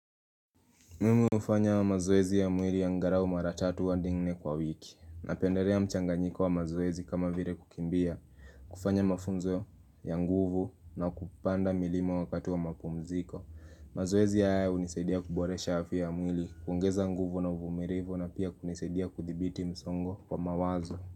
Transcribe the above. Mimi ufanya wa mazoezi ya mwili angalau maratatu adi nne kwa wiki Napenderea mchanganyiko wa mazoezi kama vire kukimbia kufanya mafunzo ya nguvu na kupanda milima wakatu wa mapumziko mazoezi ya haya unisadia kuboresha afya ya mwili kuongeza nguvu na uvumilivu na pia kunisadia kuthibiti msongo kwa mawazo.